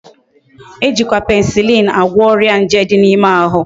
Ejikwa penicillin agwo oria nje di na ime ahu